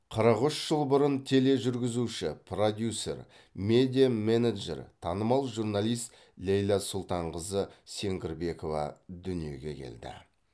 қырық үш жыл бұрын тележүргізуші продюсер медиа менеджер танымал журналист ләйлә сұлтанқызы сеңгірбекова дүниеге келді